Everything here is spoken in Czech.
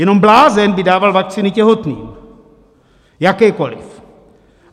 Jenom blázen by dával vakcíny těhotným, jakékoli.